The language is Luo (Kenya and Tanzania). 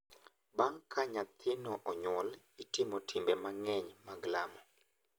Bang’ ka nyathino onyuol, itimo timbe mang’eny mag lamo.